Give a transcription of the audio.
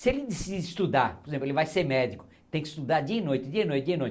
Se ele decidir estudar, por exemplo, ele vai ser médico, tem que estudar dia e noite, dia e noite, dia e noite.